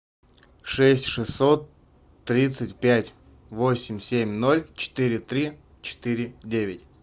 шесть шестьсот тридцать пять восемь семь ноль четыре три четыре девять